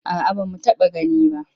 A'a ba mu taɓa gani ba.